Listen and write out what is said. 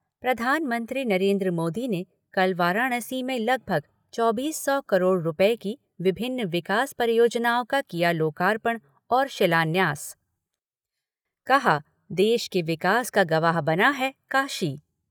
प्रधानमंत्री नरेन्द्र मोदी ने कल वाराणसी में लगभग चौबीस सौ करोड़ रुपये की विभिन्न विकास परियोजनाओं का किया लोकार्पण और शिलान्यास कहा कि देश के विकास का गवाह बना है काशी।